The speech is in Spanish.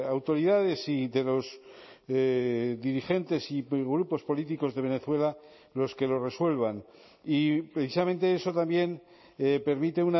autoridades y de los dirigentes y grupos políticos de venezuela los que lo resuelvan y precisamente eso también permite